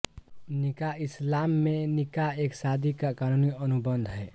निकाह इस्लाम में निकाह एक शादी का क़ानूनी अनुबंध है